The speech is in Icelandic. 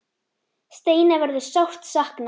Steina verður sárt saknað.